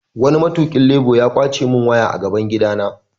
Wani mai tukin labur ya kwace mun waya a gaban gida na.